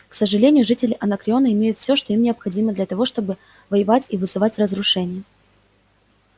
к сожалению жители анакреона имеют всё что им необходимо для того чтобы воевать и вызывать разрушения